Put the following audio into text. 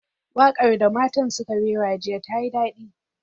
Wakar da matan suka rera jiya tayi dadi.